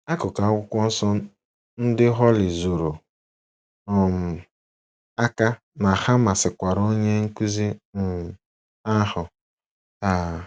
Akụkụ Akwụkwọ Nsọ ndị Holly zoro um aka na ha masịkwara onye nkụzi um ahụ. um